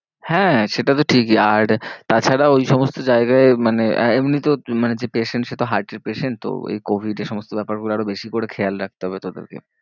হ্যাঁ সেটা তো ঠিকই আর তা ছাড়া ওই সমস্ত জায়গায় মানে হ্যাঁ এমনিতেও মানে যে patient সে তো heart এর patient তো এই covid এ সমস্ত ব্যাপার গুলো আরো বেশি করে খেয়াল রাখতে হবে তোদেরকে।